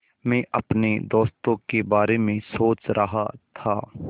मैं अपने दोस्तों के बारे में सोच रहा था